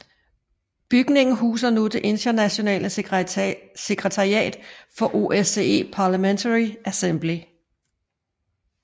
Bygningen huser nu det internationale sekretariat for OSCE Parliamentary Assembly